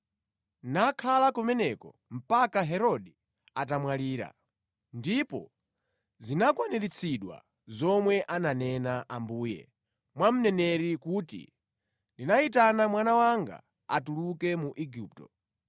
nakhala kumeneko mpaka Herode atamwalira. Ndipo zinakwaniritsidwa zomwe ananena Ambuye mwa mneneri kuti, “Ndinayitana mwana wanga kuti atuluke mu Igupto.”